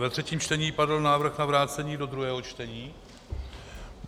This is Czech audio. Ve třetím čtení padl návrh na vrácení do druhého čtení.